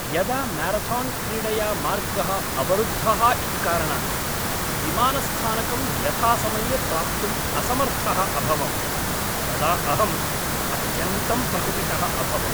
यदा म्यारथान्क्रीडया मार्गः अवरुद्धः इति कारणात् विमानस्थानकं यथासमये प्राप्तुम् असमर्थः अभवं तदा अहम् अत्यन्तं प्रकुपितः अभवम्।